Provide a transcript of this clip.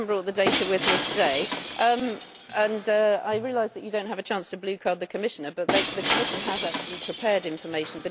I have not brought the data with me today and I realise that you do not have a chance to blue card the Commissioner, but the Commission has actually prepared information.